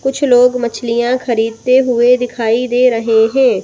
कुछ लोग मछलियाँ खरीदते हुए दिखाई दे रहे हैं।